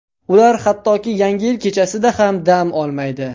Ular hattoki yangi yil kechasida ham dam olmaydi.